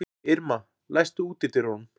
Irma, læstu útidyrunum.